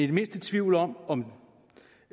det mindste i tvivl om om